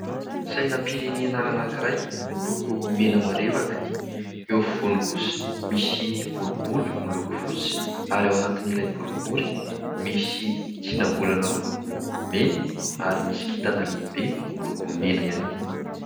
Sainam-pirenena anankiray miloko mena marevaka. Eo afovoany kosa misy boribory miloko fotsy ary ao anatin'ilay boribory misy tsinam-bolana miloko mena ary misy kintana lehibe miloko mena ihany koa.